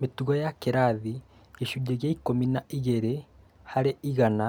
Mĩtugo ya kĩrathĩ gĩcunjĩ kĩa ikũmi na ĩgĩrĩ harĩ igana,